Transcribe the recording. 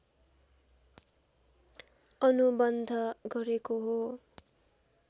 अनुबन्ध गरेको हो